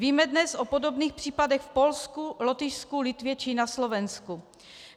Víme dnes o podobných případech v Polsku, Lotyšsku, Litvě či na Slovensku.